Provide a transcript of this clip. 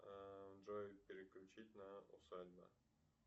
джой переключить на усадьба